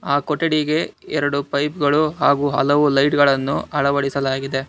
ಆ ಕೊಠಡಿಗೆ ಎರಡು ಪೈಪ್ ಗಳು ಹಾಗೂ ಹಲವು ಲೈಟ್ ಗಳನ್ನು ಅಳವಡಿಸಲಾಗಿದೆ.